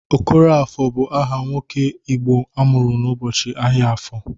Okoroafọ bụ aha nwoke Igbo amụrụ n'ụbọchị ahịa afọ.